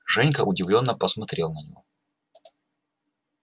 женька удивлённо посмотрел на него